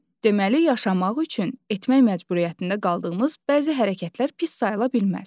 Deməli yaşamaq üçün etmək məcburiyyətində qaldığımız bəzi hərəkətlər pis sayıla bilməz.